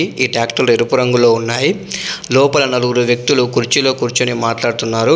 ఈ టాక్టర్లు ఎరుపు రంగులో ఉన్నాయి. లోపల నలుగురు వ్యక్తులు కుర్చీలో కూర్చుని మాట్లాడుతున్నారు.